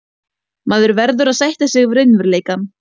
Maður verður að sætta sig við raunveruleikann.